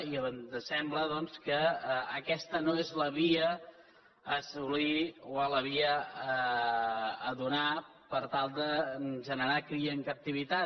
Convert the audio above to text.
i ens sembla doncs que aquesta no és la via a assolir o la via a donar per tal de generar cria en captivitat